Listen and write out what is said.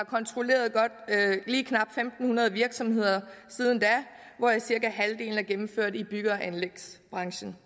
kontrolleret lige knap fem hundrede virksomheder siden da hvoraf cirka halvdelen er gennemført i bygge og anlægsbranchen